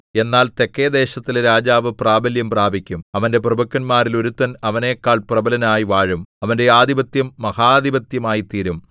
എന്നാൽ തെക്കെദേശത്തിലെ രാജാവ് പ്രാബല്യം പ്രാപിക്കും അവന്റെ പ്രഭുക്കന്മാരിൽ ഒരുത്തൻ അവനെക്കാൾ പ്രബലനായി വാഴും അവന്റെ ആധിപത്യം മഹാധിപത്യമായിത്തീരും